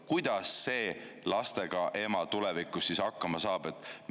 Kuidas see lastega ema siis tulevikus hakkama saab?